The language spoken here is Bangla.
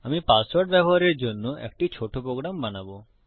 আমি পাসওয়ার্ড ব্যবহারের জন্য একটি ছোট প্রোগ্রাম বানাবো